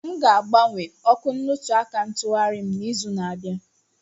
M ga-agbanwe ọkụ nnutuaka ntughari m n'izu na-abịa.